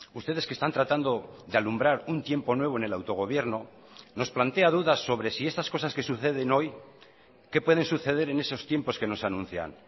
ustedes que están tratando de alumbrar un tiempo nuevo en el autogobierno nos plantea dudas sobre si estas cosas que suceden hoy qué pueden suceder en esos tiempos que nos anuncian